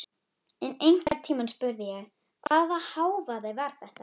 En einhvern tímann spurði ég: Hvaða hávaði var þetta?